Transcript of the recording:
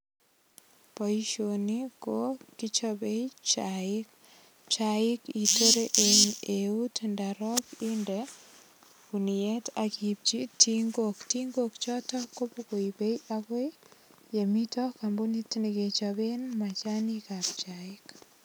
Bousioni ko kichopei chaik. Chaik itore eng eut ndorok inde guniet ak iipchi tingok. Tingok choto kobokoibe agoi yemite kambunit ne kechoben machanik ab chaik.